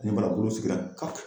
Ni barakuru sigila kake.